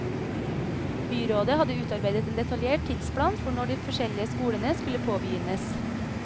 Byrådet hadde utarbeidet en detaljert tidsplan for når de forskjellige skolene skulle påbegynnes.